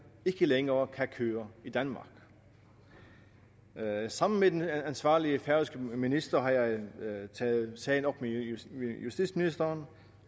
ikke længere kan køre i danmark sammen med den ansvarlige færøske minister har jeg taget sagen op med justitsministeren